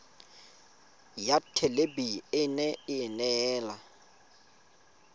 ya thelebi ene e neela